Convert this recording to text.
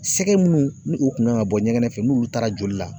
Sɛgɛ munnu ni u kun man ka bɔ ɲɛgɛn fɛ n'u taara joli la